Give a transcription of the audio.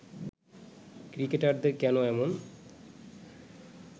ক্রিকেটারদের কেন এমন